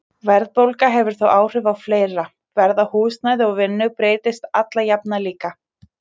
Verðbólga hefur þó áhrif á fleira, verð á húsnæði og vinnu breytist alla jafna líka.